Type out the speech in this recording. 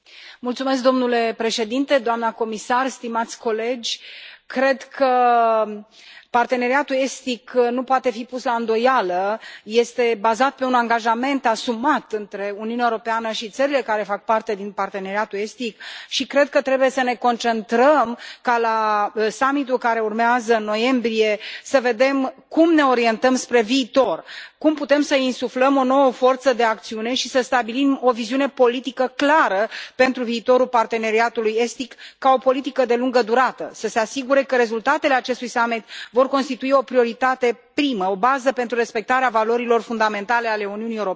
Domnule președinte, doamnă comisar, stimați colegi, cred că Parteneriatul Estic nu poate fi pus la îndoială, este bazat pe un angajament asumat între Uniunea Europeană și țările care fac parte din Parteneriatul Estic și cred că trebuie să ne concentrăm ca la summit ul care urmează, în noiembrie, să vedem cum ne orientăm spre viitor, cum putem să insuflăm o nouă forță de acțiune și să stabilim o viziune politică clară pentru viitorul Parteneriatului Estic ca o politică de lungă durată, să se asigure că rezultatele acestui summit vor constitui o prioritate primă, o bază pentru respectarea valorilor fundamentale ale Uniunii Europene.